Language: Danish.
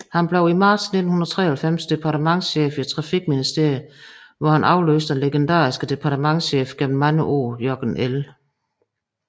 Han blev i marts 1993 departementschef i Trafikministeriet hvor han afløste den legendariske departementschef gennem mange år Jørgen L